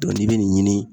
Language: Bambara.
n'i bɛ nin ɲini